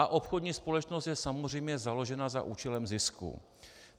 A obchodní společnost je samozřejmě založena za účelem zisku.